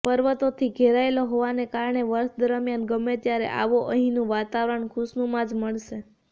પર્વતોથી ઘેરાયેલો હોવાને કારણે વર્ષ દરમિયાન ગમે ત્યારે આવો અહીંનું વાતાવરણ ખુશનુમા જ મળશે